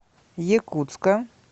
якутска